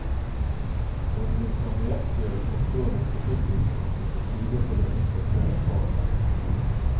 For du vil få nøyaktig og forståelig trafikkinformasjon i tide til å unngå køen foran deg.